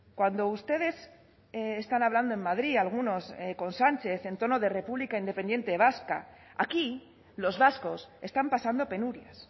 cuando ustedes están hablando en madrid algunos con sánchez en tono de república independiente vasca aquí los vascos están pasando penurias